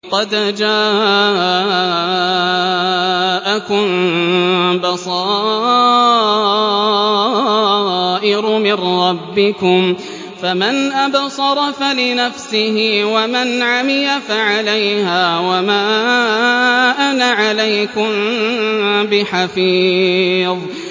قَدْ جَاءَكُم بَصَائِرُ مِن رَّبِّكُمْ ۖ فَمَنْ أَبْصَرَ فَلِنَفْسِهِ ۖ وَمَنْ عَمِيَ فَعَلَيْهَا ۚ وَمَا أَنَا عَلَيْكُم بِحَفِيظٍ